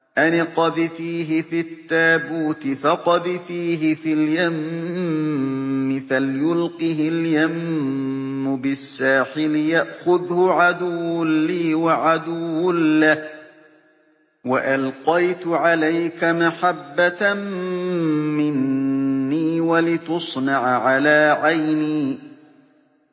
أَنِ اقْذِفِيهِ فِي التَّابُوتِ فَاقْذِفِيهِ فِي الْيَمِّ فَلْيُلْقِهِ الْيَمُّ بِالسَّاحِلِ يَأْخُذْهُ عَدُوٌّ لِّي وَعَدُوٌّ لَّهُ ۚ وَأَلْقَيْتُ عَلَيْكَ مَحَبَّةً مِّنِّي وَلِتُصْنَعَ عَلَىٰ عَيْنِي